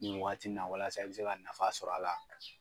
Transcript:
Nin wagati in na walasa i bɛ se ka nafa sɔrɔ a la.